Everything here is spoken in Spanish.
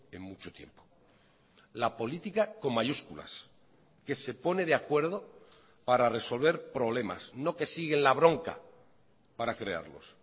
en mucho tiempo la política con mayúsculas que se pone de acuerdo para resolver problemas no que siguen la bronca para crearlos